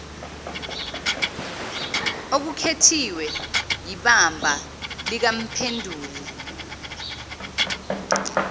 okukhethwe yibamba likamphenduli